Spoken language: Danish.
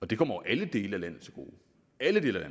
det kommer alle dele af landet til gode alle dele af